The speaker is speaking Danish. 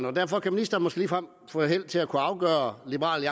og derfor kan ministeren måske ligefrem få held til at kunne afgøre liberal